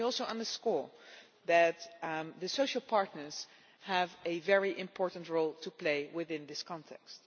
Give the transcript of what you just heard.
Let me also underscore that the social partners have a very important role to play within this context.